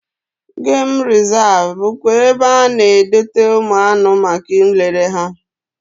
Gem rezav bụkwa ebe a na-edote ụmụ anụ maka nlere anya